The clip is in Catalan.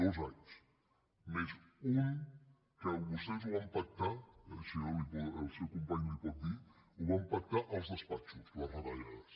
dos anys més un que vostès van pactar el seu company li ho pot dir als despatxos les retallades